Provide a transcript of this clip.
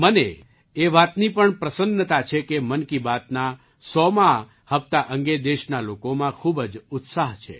મને એ વાતની પણ પ્રસન્નતા છે કે મન કી બાતના સોમા 100મા હપ્તા અંગે દેશના લોકોમાં ખૂબ જ ઉત્સાહ છે